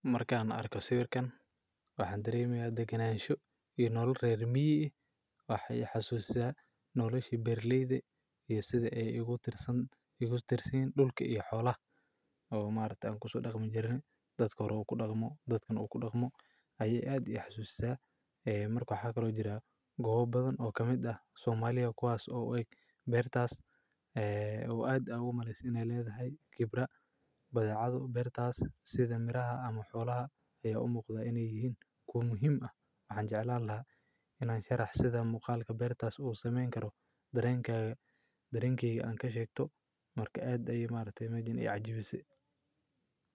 Markaan arko sawarkan, waxaan dareemiyaad ganaansho inool reer Miyee. Waxay xasuustaa nool heshi Berliida iyo sida ay igu tirsan igu tirsan dhulka iyo xoolaha oo maarifta aan ku soo dhaqmin jirin. Dadka hor uu ku dhaqmo dadkan uu ku dhaqmo ayay aad u xasuustaa eey marka hagaro jira goobo badan oo ka mid ah Somaliya kwaas oo ay beertaas ee oo aad ugu mahadsan inee leedahay khibra bada cad oo beertaas sida miraha ama xoolaha ayaa u muuqda inay yihiin ku muhim ah. Waxaan jeclaan lahaa inaan sharaxsado muqaalka beertaas uu sameyn karo daraynkaga. Daraynkiga aan ka sheegto marka aad ay maalinta imanayaan cajibisi.